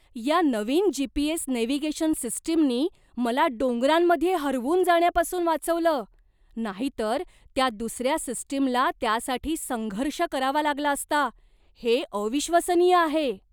या नवीन G. P. S. Navigation सिस्टीमनी मला डोंगरांमध्ये हरवून जाण्यापासून वाचवलं, नाहीतर त्या दुसऱ्या सिस्टीमला त्यासाठी संघर्ष करावा लागला असता. हे अविश्वसनीय आहे!